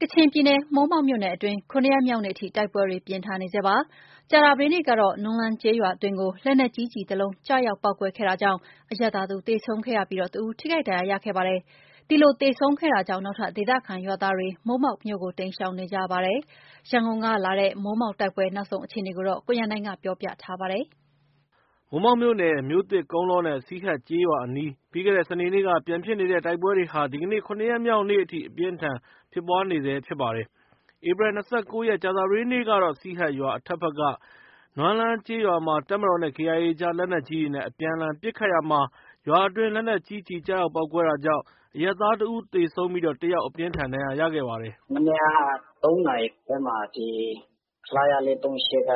ကချင်ပြည်နယ် မိုးမောက်မြို့နယ်အတွင်း ၇ ရက်မြောက်နေ့အထိ တိုက်ပွဲတွေ ပြင်းထန်နေဆဲဖြစ်ပါတယ်။ ကြာသပတေးနေ့ကတော့ နွမ်းလန်းကျေးရွာအတွင်းကို လက်နက်ကြီး ကျည်တလုံး ကျရောက် ပေါက်ကွဲခဲ့တာကြောင့် အရပ်သားတစ်ဦး သေဆုံးခဲ့ပြီး တစ်ဦး ထိခိုက်ဒဏ်ရာရခဲ့ပါတယ်။ ဒီလိုသေဆုံးခဲ့တာကြောင့် နောက်ထပ် ဒေသခံရွာသားတွေ မိုးမောက်မြို့ကို တိမ်းရှောင်နေကြပါတယ်။ ရန်ကုန်ကလာတဲ့ မိုးမောက်တိုက်ပွဲ နောက်ဆုံးအခြေအနေကိုတော့ ကိုရန်နိုင်က ပြောပြထားပါတယ်။ မိုးမောက်မြို့နယ် မြို့သစ်၊ ကုန်းလောနဲ့ စီဟတ်ကျေးရွာအနီး ပြီးခဲ့တဲ့စနေနေ့က ပြန်ဖြစ်နေတဲ့ တိုက်ပွဲတွေဟာ ဒီကနေ့ ၇ ရက်မြောက်နေ့အထိ အပြင်းအထန်ပွားနေတာပါ။ ဧပြီ ၂၉ ရက် ကြာသပတေးနေ့ကတော့ စီဟတ်ရွာ အထက်ဘက်က နွမ်းလန်းရွာမှာ တပ်မတော်နဲ့ KIA အကြား လက်နက်ကြီးတွေနဲ့ အပြန်အလှန် ပစ်ခတ်ရာမှာ ရွာအတွင်း လက်နက်ကြီးကျည် ကျရောက် ပေါက်ကွဲတာကြောင့် အရပ်သားတစ်ဦးသေဆုံးပြီး တစ်ယောက် အပြင်းအထန် ဒဏ်ရာရခဲ့ပါတယ်။ “မနေ့က ဒီ ၃နာရီခွဲမှာ ခလရ ၄၃၈ က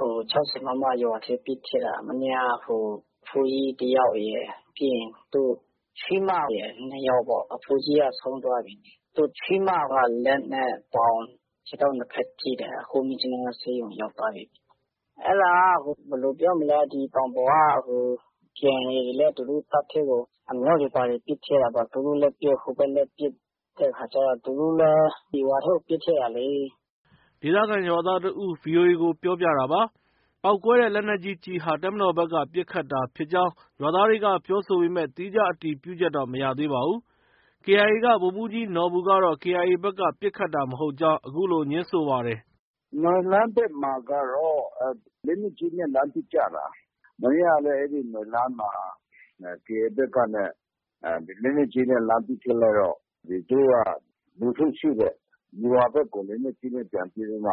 ၆၀ မမ ရွာထဲပစ်ထည့်တာ။ မနေ့က အဖိုးကြီးတစ်ယောက်ရယ်၊ ပြီးရင် သူ့ ချွေးမရယ် နှစ်ယောက်ပေါ့။ အဖိုးကြီးက ဆုံးသွားပြီ။ သူ့ချွေးမက လက်နဲ့ ပေါင် ခြေထောက်နှစ်ဖက်ထိတယ်။ အခု မြစ်ကြီးနားဆေးရုံရောက်သွားပြီ။ အဲဒါက တောင်ပေါ်က KIA တွေလည်း သူတို့ တပ်ထဲကို အမြောက်တွေ ဘာတွေ ပစ်ထည့်တာပေါ့။ သူတို့လည်း ပစ်၊ ဟိုဘက်လည်း ပစ်တဲ့အခါကျတော့ သူတို့လည်း ရွာထဲကို ပစ်ထည့်တာလေ။” ဒေသခံရွာသားတစ်ဦးက VOA ကို ပြောပြတာပါ။ ပေါက်ကွဲတဲ့ လက်နက်ကြီးကျည်ဟာ တပ်မတော်ဘက်က ပစ်ခတ်တာဖြစ်ကြောင်း ရွာသားတွေက ပြောဆိုပေမဲ့ သီးခြားအတည်ပြုချက်တော့ မရသေးပါဘူး။ KIA က ဗိုလ်မှုးကြီးနော်ဘူကတော့ KIA ဘက်က ပစ်ခတ်တာမဟုတ်ကြောင်း အခုလို ငြင်းဆိုပါတယ်။ “နွမ်းလန်းဘက်မှာကျတော့ လက်နက်ကြီးနဲ့ လှမ်းပစ်ကြတာ။ မနေ့ကလည်း အဲဒီ နွမ်းလန်းမှာ KIA ဘက်ကနဲ့ လက်နက်ကြီးနဲ့ လှမ်းပစ်ထည့်လိုက်တော့ သူတု့ိက လူထုရှိတဲ့ ရွာဘက်ကို လက်နက်ကြီးနဲ့ ပြန်ပစ်ပြီးတော့မှ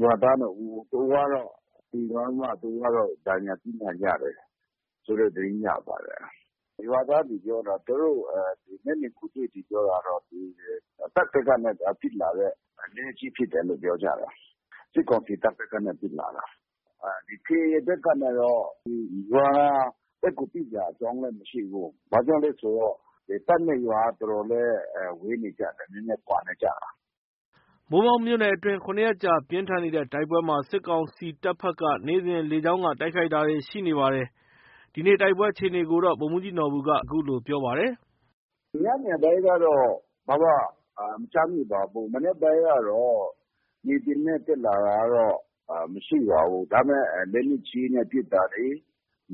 ရွာသား ၂ ဦး တစ်ဦးကတော့ သေသွားပြီးမှ တစ်ဦးက အပြင်းအထန် ဒဏ်ရာရတယ်ဆိုတဲ့ သတင်းရပါတယ်။ ရွာသားတွေ ပြောတာ။ သူတို့ မျက်မြင်ကိုယ်တွေ့တွေ ပြောတာတော့ တပ်ဖက်ကနဲ့ပစ်လာတဲ့ လက်နက်ကြီးဖြစ်တယ်လို့ ပြောကြတယ်။ စစ်ကောင်စီတပ်ဘက်ကနေ ပစ်လာတာ။ KIA ဘက်ကတော့ ရွာဘက်ကို ပစ်စရာအကြောင်းလည်း မရှိဘူး။ ဘာကြောင့်လည်းဆိုတော့ တပ်နဲ့ရွာက တော်တော်လေး ဝေးနေကြတယ်။ နည်းနည်း ကွာနေကြတယ်။” မိုးမောက်မြို့နယ်အတွင်း ၇ ရက်ကြာ ပြင်းထန်နေတဲ့တိုက်ပွဲမှာ စစ်ကောင်စီတပ်ဘက်က နေ့စဉ် လေကြောင်းက တိုက်ခိုက်တာတွေ ရှိနေပါတယ်။ ဒီနေ့ တိုက်ပွဲအခြေအနေကို ဗိုလ်မှူးကြီးနော်ဘူက အခုလို ပြောပါတယ်။ “ညနေပိုင်းကတော့ ဘာမှ မကြားမိပါဘူး။ မနက်ပိုင်းကတော့ မြေပြင်က တက်လာတာတော့ မရှိပါဘူး။ ဒါပေမဲ့ လက်နက်ကြီးနဲ့ ပစ်တာတွေ၊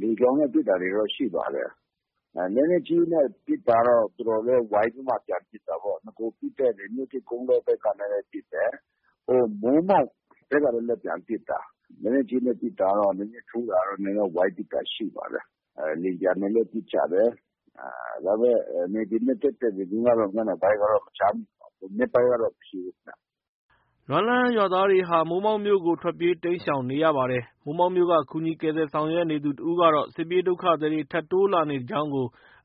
လေကြောင်းနဲ့ ပစ်တာတွေတော့ ရှိပါတယ်။ လက်နက်ကြီးနဲ့ ပစ်တာကတော့ တော်တော်လေး ဝိုင်းပြီးမှ ပြန်ပစ်တာပေါ့။ နဂိုပစ်တဲ့ မြို့သစ်၊ ကုန်းလောဘက်ကနေလည်း ပစ်တယ်။ မိုးမောက်ဘက်ကလည်းပဲ ပြန်ပစ်တာ။ လက်နက်ကြီးနဲ့ ပစ်တာကတော့ နည်းနည်းထူးတာကတော့ ဝိုင်းပစ်တာ ထူးတာကတော့ ရှိပါတယ်။ လေယာဉ်ပျံနဲ့လည်း ပစ်ကြတယ်။ ဒါပေမဲ့ မြေပြင်တက်တဲ့သတင်းကတော့ ညနေပိုင်းကတော့ မကြားမိပါဘူး။ မနက်ပိုင်းကတော့ မရှိဘူးခင်ဗျ။” လက်နက်ကြီးကျည်တွေ ကျတာကြောင့် နွမ်းလန်းရွာသားတွေဟာ မိုးမောက်မြို့ကို ထပ်မံထွက်ပြေးတိမ်းရှောင်နေကြပါတယ်။ မိုးမောက်မြို့က ကူညီကယ်ဆယ်ရေးဆောင်ရွက်နေသူတစ်ဦးကတော့ စစ်ပြေးဒုက္ခသည်တွေ ထပ်တိုးလာနေကြောင်း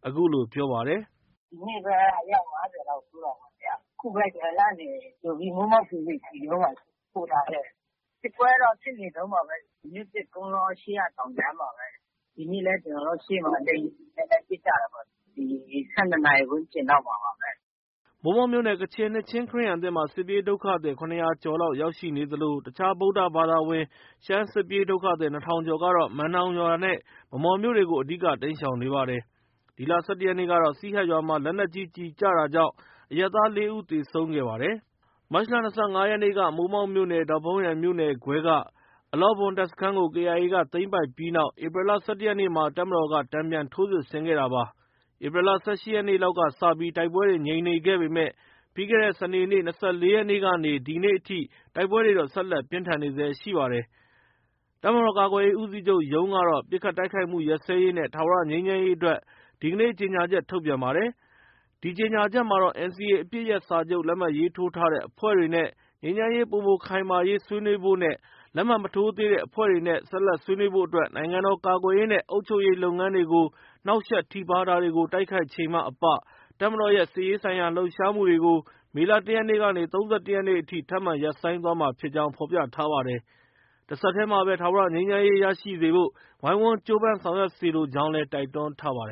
အခုလို ပြောပါတယ်။ “ဒီနေ့ပဲ အယောက် ၅၀ လောက် တိုးပါတယ်ဗျ။ အခုပဲ နွမ်းလန်းကနေကြိုပြီး မိုးမောက် KBC ရုံးမှာ ပို့ထားခဲ့တယ်ဗျ။ စစ်ပွဲကတော့ ဖြစ်နေတုံးပါပဲ။ မြို့သစ်၊ ကုန်းလောရှေ့က တောင်ကြားမှာပဲ။ ဒီနေ့လည်း ကျနော်တို့ရှေ့မှာ လေယာဉ်တွေနဲ့ ပစ်ကြတာပေါ့။ ၁၂ နာရီဝန်းကျင်လောက်မှာပါပဲ။” မိုးမောက် ကချင်နှစ်ခြင်းခရစ်ယာန်အသင်းမှာ စစ်ပြေးဒုက္ခသည် ၇၀၀ ကျော်လောက်ရောက်ရှိနေသလို အခြား ဗုဒ္ဓဘာသာဝင် ရှမ်းစစ်ပြေးဒုက္ခသည် ၂,၀၀၀ ကျော်ကတော့ မန်နောင်ရွာနဲ့ ဗန်းမော်မြို့တွေကို အဓိက တိမ်းရှောင်နေပါတယ်။ ဒီလ ၁၁ ရက်နေ့ကတော့ စီဟတ်ရွာမှာ လက်နက်ကြီးကျည်ကျတာကြောင့် အရပ်သား ၄ ဦး သေဆုံးခဲ့ပါတယ်။ မတ်လ ၂၅ ရက်နေ့က မိုးမောက်မြို့နယ်၊ ဒေါ့ဖုန်းယန်မြို့နယ်ခွဲက အလော့ဘွမ်တပ်စခန်းကို KIA က သိမ်းပိုက်ပြီးနောက် ဧပြီလ ၁၁ ရက်မှာ တပ်မတော်က တန်ပြန်ထိုးစစ်ဆင်ခဲ့တာပါ။ ဧပြီလ ၁၈ ရက်နေ့လောက်ကစပြီး တိုက်ပွဲတွေ ငြိမ်နေခဲ့ပေမဲ့ ပြီးခဲ့တဲ့ စနေနေ့ ၂၄ ရက်နေ့ကနေ ဒီနေ့အထိ တိုက်ပွဲတွေ ဆက်လက်ပြင်းထန်နေဆဲရှိပါတယ်။ တပ်မတော်ကာကွယ်ရေး ဦးစီးချုပ်ရုံးကတော့ ပစ်ခတ်တိုက်ခိုက်မှုရပ်စဲရေးနဲ့ ထာဝရငြိမ်းချမ်းရေးအတွက် ဒီကနေ့ ကြေညာချက် ထုတ်ပြန်ပါတယ်။ ဒီကြေညာချက်မှာ NCA အပစ်ရပ်စာချုပ် လက်မှတ်ရေးထိုးထားတဲ့ အဖွဲ့တွေနဲ့ ငြိမ်းချမ်းရေးပိုမိုခိုင်မာရေး ဆွေးနွေးဖို့နဲ့ လက်မှတ်မထိုးသေးတဲ့အဖွဲ့တွေနဲ့ ဆက်လက်ဆွေးနွေးဖို့အတွက် နိုင်ငံတော်ကာကွယ်ရေးနဲ့ အုပ်ချုပ်ရေးလုပ်ငန်းတွေကို နှောက်ယှက်ထိပါးတာတွေကို တိုက်ခိုက်ချိန်မှအပ တပ်မတော်ရဲ့ စစ်ရေးဆိုင်ရာ လှုပ်ရှားမှုတွေကို မေလ ၁ ရက်နေ့ကနေ ၃၁ ရက်ထိ ထပ်မံရပ်ဆိုင်းသွားမှာဖြစ်ကြောင်း ဖော်ပြထားပါတယ်။ တဆက်တည်းမှာပဲ ထာဝရ ငြိမ်းချမ်းရေးရစေဖို့ ဝိုင်းဝန်းကြိုးပမ်းဆောင်ရွက်စေလိုကြောင်းလည်း တိုက်တွန်းထားပါတယ်